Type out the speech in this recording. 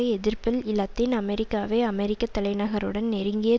எதிர்ப்பில் இலத்தீன் அமெரிக்காவை அமெரிக்க தலைநகருடன் நெருங்கிய